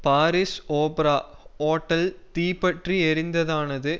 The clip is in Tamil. பாரிஸ் ஓப்ரா ஓட்டல் தீப்பற்றி எரிந்ததானது